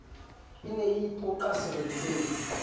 e ne e ipoqa seretseng